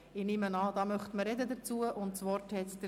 Ich gehe davon aus, dass man sich dazu äussern möchte.